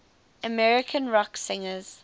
american rock singers